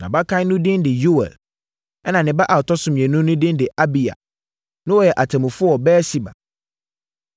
Nʼabakan no din de Yoɛl ɛnna ne ba a ɔtɔ so mmienu no din de Abiya. Na wɔyɛ atemmufoɔ wɔ Beer-Seba.